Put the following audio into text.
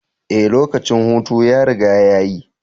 Ee, lokacin hutu ya riga ya yi.